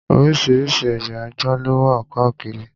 Oríṣiríṣi ẹ̀ya ajá ló wà káàkiri.